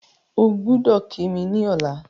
Ogbọ́dọ̀ kí mi ní ọ̀la